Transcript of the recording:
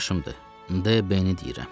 D. B-ni deyirəm.